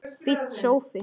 Fínn sófi!